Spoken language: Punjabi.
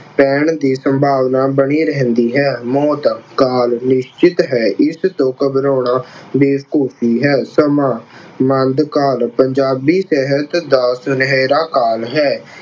ਪੈਣ ਦੀ ਸੰਭਾਵਨਾ ਬਣੀ ਰਹਿੰਦੀ ਹੈ। ਮੌਤ ਕਾਲ ਨਿਸ਼ਚਿਤ ਹੈ ਇਸ ਤੋਂ ਘਬਰਾਉਣਾ ਬੇਵਕੂਫੀ ਹੈ। ਕਾਲ ਪੰਜਾਬੀ ਸਾਹਿਤ ਦਾ ਸੁਨਹਿਰਾ ਕਾਲ ਹੈ।